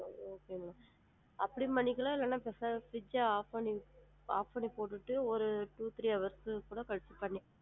ஹம் அப்படியும் பண்ணிக்கலாம் இல்லன்னா switch off பண்ணிட்டு off பண்ணி போட்டுட்டு ஒரு two three hours கழிச்சு கூட பண்ணிக்கலாம்.